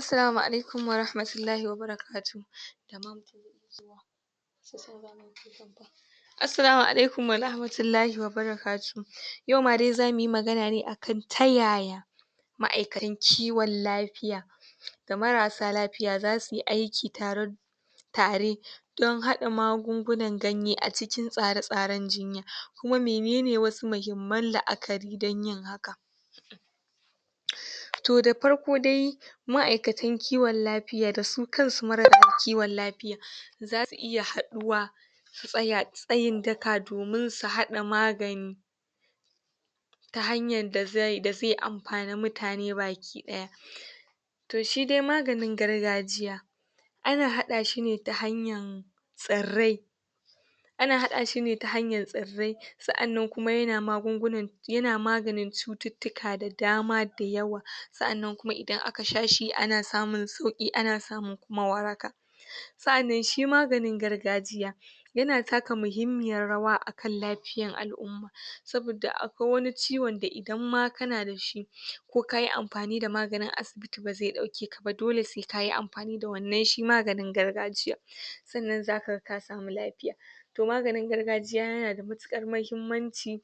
Assalamu alaikum warahmatullahi wa barakatuhu Assalamu alaikum wa rahmatullahi wa barakatuh yau ma dai za mu yi magana ne a kan ta ya ya ma'aikatan kiwon lafiya da marassa lafiya za su yi aiki tare tare don haɗa magungunan ganye a cikin tsare-tsaren jinya kuma mene ne wasu muhimman la'akari don yin haka. To da farko dai, ma'aikatan kiwon lafiya da su kansu marasa lafiyan za su iya haɗuwa su tsaya tsayin daka domin su haɗa magani ta hanyar da zai amfani mutane baki ɗaya. To shi dai maganin gargajiya, ana haɗa shi ne ta hanyar tsirrai ana haɗa shi ne ta hanyar tsirrai sa'an nan kuma yana magungunanƴ yana maganin cututtuka da dama da yawa. Sa'an nan kuma idan ak sha shi ana samun sauƙi ana samun waraka. Sa'an nan shi maganin gargajiya, yana taka muhimmiyar rawa a kan lafiyar al'umma saboda akwai wani ciwon da idan ma kan da shi ko ka yi amfani da maganin asibiti ba zai ɗauke ka ba, dole sai ka yi amfani da wannan shi maganin gargajiyan. sannan za ka ga ka samu lafiya. To maganin gargajiya yana da matuƙar muhimmanci,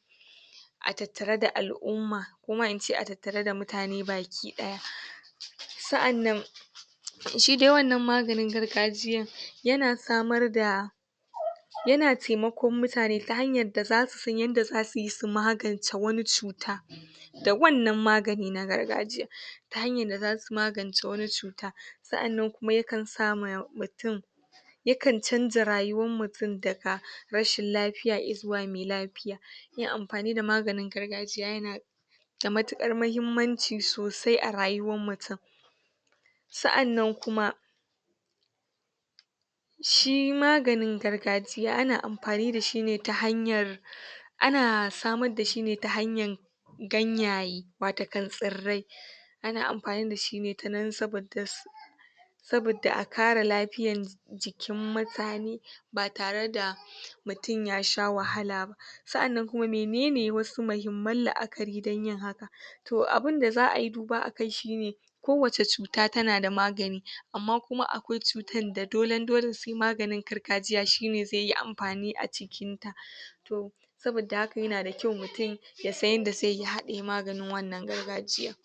a tattare da al'umma. Ko ma in ce a tattare da mutane baki ɗaya. sa'an nan shi dai wannan maganin gargajiyan, yana samar da Yana taimakon mutane ta hanyar da za su san yadda za su yi su magance wani cuta. da wannan magani na gargajiya, ta hanyar da za su magance wani cuta. sa'an nan kuma ya kan sa ma mutum, yakan canja rayuwar mutum daga rashin lafiya i zuwa mai lafiya. Yin amfani da maganin gargajiya yana da matuƙar muhimmanci sosai a rayuwar mutum sa'an nan kuma shi maganin gargajiya ana amfani da shi ne ta hanyar ana samar da shi ne ta hanyar gangaye watakan tsirrai, ana amfani da shi ne ta nan saboda saboda a kare lafiyar jikin mutane ba tare da mutum ya sha wahala ba. Sa'an nan kuma mene ne wasu muhimman la'akari don yin hakan? To abin da za a yi duba a kai shi ne, kowace cuta tana da magani, Amma kuma kwai cutan da dolen dole sai maganin gargajiya shi ne zai yi amfani a cikinta. to saboda haka yana da kyau mutum ya san yadda zai yi ya haɗa maganin wannan gargajiyan.